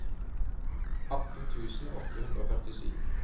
atten tusen åtte hundre og førtisju